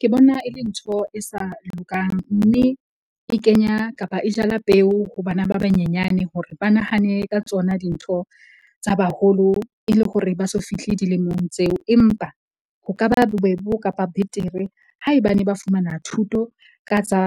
Ke bona e le ntho e sa lokang. Mme e kenya kapa e jala peo ho bana ba banyenyane hore ba nahane ka tsona dintho tsa baholo e le hore ba so fihle dilemong tseo. Empa ho ka ba bobebe kapa betere haebane ba fumana thuto ka tsa